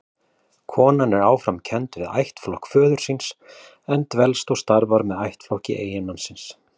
Konan er áfram kennd við ættflokk föður síns, en dvelst og starfar með ættflokki eiginmannsins.